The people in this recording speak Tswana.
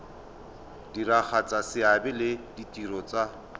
diragatsa seabe le ditiro tsa